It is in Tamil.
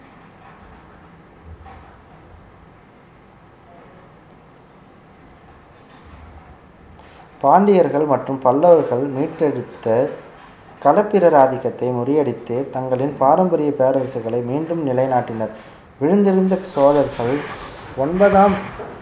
பாண்டியர்கள் மற்றும் பல்லவர்கள் மீட்டெடுத்த களத்திரர் ஆதிக்கத்தை முறியடித்து தங்களின் பாரம்பரிய பேரரசுகளை மீண்டும் நிலைநாட்டினர் விழுந்திருந்த சோழர்கள் ஒன்பதாம்